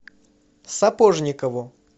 сапожникову